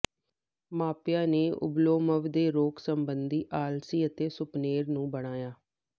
ਮਾਪਿਆਂ ਨੇ ਓਬਲੋਮਵ ਦੇ ਰੋਗ ਸਬੰਧੀ ਆਲਸੀ ਅਤੇ ਸੁਪਨੇਰ ਨੂੰ ਬਣਾਇਆ